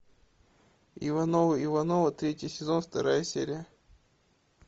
ивановы ивановы третий сезон вторая серия